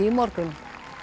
í morgun